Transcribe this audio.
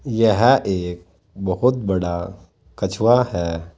यह एक बहुत बड़ा कछुआ है।